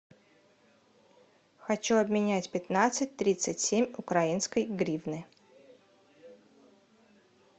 хочу обменять пятнадцать тридцать семь украинской гривны